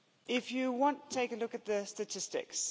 If you want to take a look at the statistics.